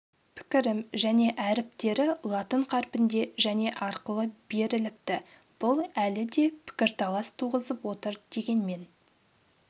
пікірім және әріптері латын қарпінде және арқылы беріліпті бұл әлі де пікірталас туғызып отыр дегенмен